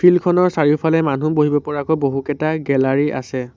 Field খনৰ চাৰিওফালে মানুহ বহিব পৰাকৈ বহুকেইটা গেলেৰী আছে।